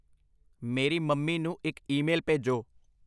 ਮੇਰੀ ਮੰਮੀ ਨੂੰ ਇੱਕ ਈਮੇਲ ਭੇਜੋ।